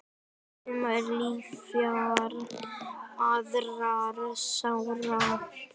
Sumar ljúfar aðrar sárar.